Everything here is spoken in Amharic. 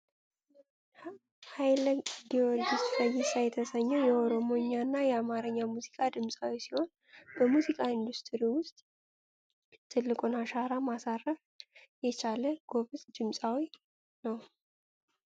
ሀይለ ጊዮርጊስ ፈይሳ የተሰኘው የኦሮሞኛና የአማርኛ ሙዚቃ ድምፃዊ ሲሆን በሙዚቃ ኢንዱስትሪ ውስጥ ትልቁን አሻራ ማሳረፍ የቻለ ጎበዝ ድምፄዊ ነው ።